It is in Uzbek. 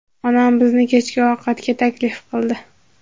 Onam bizni kechki ovqatga taklif qildi.